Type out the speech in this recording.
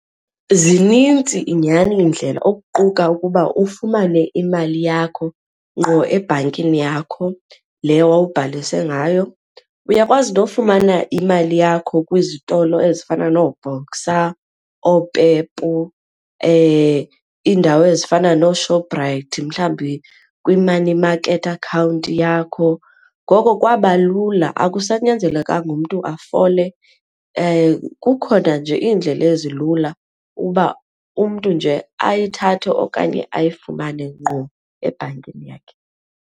Zinintsi nyhani iindlela okuquka ukuba ufumane imali yakho ngqo ebhankini yakho leyo wawuzibhalise ngayo. Uyakwazi nofumana imali yakho kwizitolo ezifana nooBoxer, ooPEP, iindawo ezifana nooShoprite mhlawumbi kwi-money market account yakho, ngoko kwaba lula akusanyanzelekanga umntu ufole. Kukhona nje iindlela ezilula ukuba umntu nje ayithathe okanye ayifumane ngqo ebhankini yakhe.